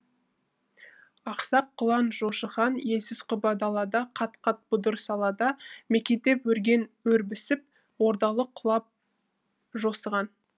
ақсақ құлан жошы хан елсіз құба далада қат қат бұдыр салада мекендеп өрген өрбісіп ордалы құлан жосыған